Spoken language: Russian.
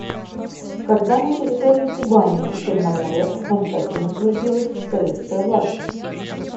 когда на территории кубани и черноморья окончательно утвердилась советская власть